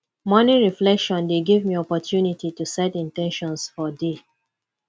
morning reflection dey give me opportunity to set in ten tions for day